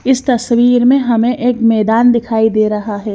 इस तस्वीर में हमें एक मैदान दिखाई दे रहा है।